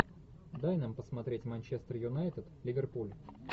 дай нам посмотреть манчестер юнайтед ливерпуль